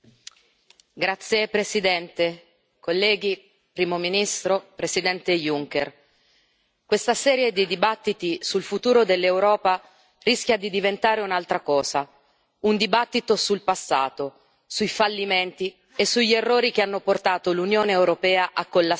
Signor Presidente, onorevoli colleghi, Primo ministro, Presidente Juncker, questa serie di dibattiti sul futuro dell'Europa rischia di diventare un'altra cosa, un dibattito sul passato, sui fallimenti e sugli errori che hanno portato l'Unione europea a collassare.